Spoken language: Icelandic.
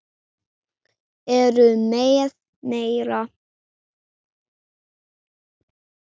Heru með mér.